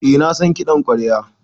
Eh na san kiɗan ƙwarya.